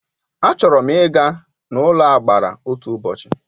A chọrọ m Ị́ ga n'ụlọagbara otu ụbọchị